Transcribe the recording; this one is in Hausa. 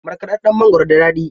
Markaɗaɗɗan mangwaro da daɗi.